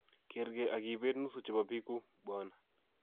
"kergei ak ibet nusu chebo bikuuk,"Bw.